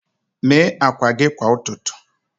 Mee akwa gị kwa ụtụtụ.